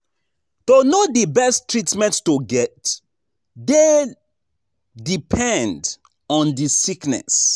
To know di best treatment to get dey depend on the sickness